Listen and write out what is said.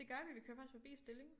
Det gør vi vi kører faktisk forbi Stilling